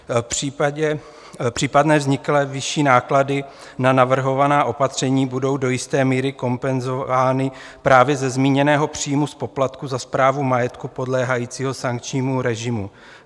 Případné vzniklé vyšší náklady na navrhovaná opatření budou do jisté míry kompenzovány právě ze zmíněného příjmu z poplatků za správu majetku podléhajícího sankčnímu režimu.